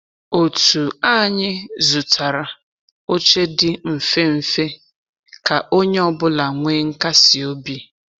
Òtù anyị zụtara oche di mfe mfe ka onye ọ bụla nwee nkasi obi.